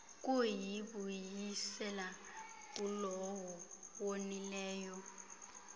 kuyibuyisela kulowo wonileyo